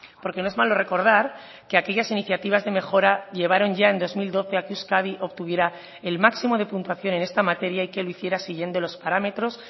porque no es malo recordar que aquellas iniciativas de mejora llevaron ya en dos mil doce a que euskadi obtuviera el máximo de puntuación en esta materia y que lo hiciera siguiendo los parámetros